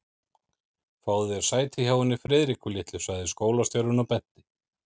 Fáðu þér sæti hjá henni Friðriku litlu sagði skólastjórinn og benti